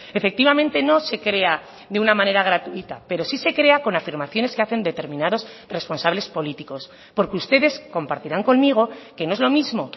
efectivamente no se crea de una manera gratuita pero sí se crea con afirmaciones que hacen determinados responsables políticos porque ustedes compartirán conmigo que no es lo mismo